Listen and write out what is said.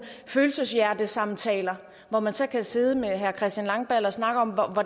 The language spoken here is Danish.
følelse hjerte samtaler hvor man så kan sidde med herre christian langballe og snakke om